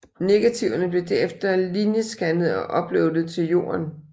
Negativerne blev derefter linjescannet og uploaded til Jorden